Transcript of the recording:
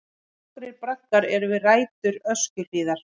Nokkrir braggar eru við rætur Öskjuhlíðar.